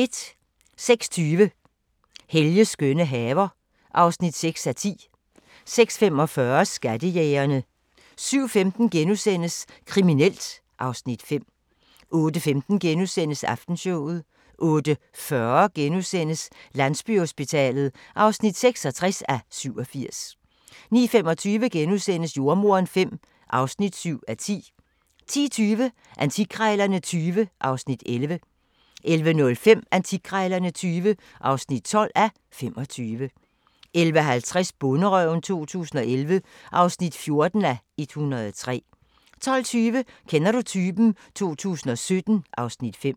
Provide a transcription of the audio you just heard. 06:20: Helges skønne haver (6:10) 06:45: Skattejægerne 07:15: Kriminelt (Afs. 5)* 08:15: Aftenshowet * 08:40: Landsbyhospitalet (66:87)* 09:25: Jordemoderen V (7:10)* 10:20: Antikkrejlerne XX (11:25) 11:05: Antikkrejlerne XX (12:25) 11:50: Bonderøven 2011 (14:103) 12:20: Kender du typen? 2017 (Afs. 5)